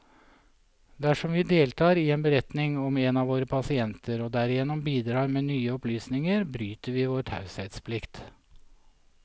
Dersom vi deltar i en beretning om en av våre pasienter, og derigjennom bidrar med nye opplysninger, bryter vi vår taushetsplikt.